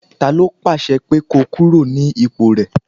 Ta ló pàṣẹ pé ko kúrò ní ipò rẹ?